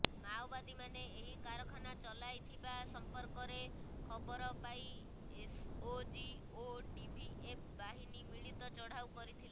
ମାଓବାଦୀମାନେ ଏହି କାରଖାନା ଚଲାଇଥିବା ସମ୍ପର୍କରେ ଖବର ପାଇ ଏସଓଜି ଓ ଡିଭିଏଫ ବାହିନୀ ମିଳିତ ଚଢାଉ କରିଥିଲା